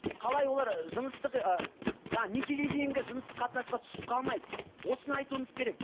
қалай олар ы жыныстық ы жаңа некеге дейінгі жыныстық қатынасқа түсіп қалмайды осыны айтуымыз керек